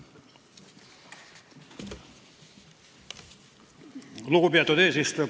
Lugupeetud eesistuja!